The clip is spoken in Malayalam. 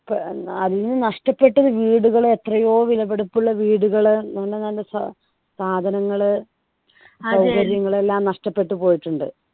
ഏർ അന്ന് നഷ്ടപ്പെട്ട വീടുകൾ എത്രയോ വിലപിടിപ്പുള്ള വീടുകൾ നല്ല നല്ല സാ സാധനങ്ങൾ സൗകര്യങ്ങൾ എല്ലാം നഷ്ടപ്പെട്ടു പോയിട്ടുണ്ട്